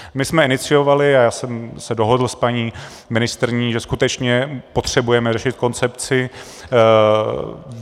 My jsme iniciovali, a já jsem se dohodl s paní ministryní, že skutečně potřebujeme řešit koncepci.